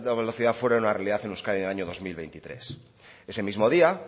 velocidad fuera una realidad en euskadi en el año dos mil veintitrés ese mismo día